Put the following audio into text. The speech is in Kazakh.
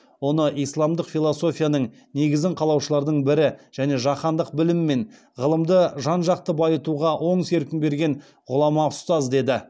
оны исламдық философияның негізін қалаушылардың бірі және жаһандық білім мен ғылымды жанжақты байытуға оң серпін берген ғұлама ұстаз деді